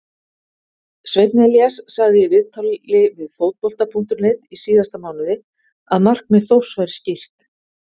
Sveinn Elías sagði í viðtali við Fótbolta.net í síðasta mánuði að markmið Þórs væri skýrt.